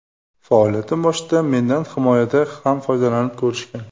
Faoliyatim boshida mendan himoyada ham foydalanib ko‘rishgan.